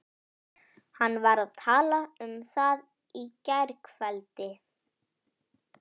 Hann var að tala um það í gærkveldi.